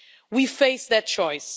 We face that choice.